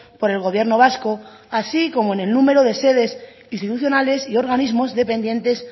por el gobierno vasco así como en el número de sedes instituciones y organismos dependientes